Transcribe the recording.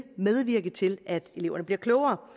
medvirke til at eleverne bliver klogere